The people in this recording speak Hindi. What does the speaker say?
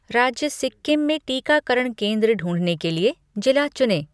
राज्य सिक्किम में टीकाकरण केंद्र ढूँढने के लिए जिला चुनें